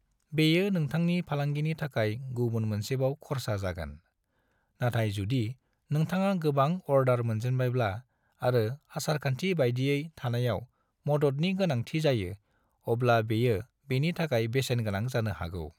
बेयो नोंथांनि फालांगिनि थाखाय गुबुन मोनसेबाव खरसा जागोन, नाथाय जुदि नोंथाङा गोबां अर्डार मोनजेनबायब्ला आरो आसारखान्थि बायदियै थानायाव मददनि गोनांथि जायो अब्ला बेयो बेनि थाखाय बेसेन गोनां जानो हागौ।